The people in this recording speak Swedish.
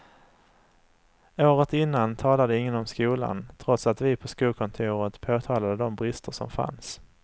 Året innan talade ingen om skolan trots att vi på skolkontoret påtalade de brister som fanns.